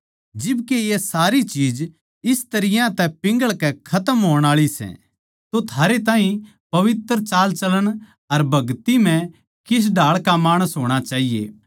जिब के ये सारी चीज इस तरियां तै पिंघळण के खतम होण आळी सै तो थारै ताहीं पवित्र चालचलण अर भगति म्ह किस ढाळ का माणस होणा चाहिये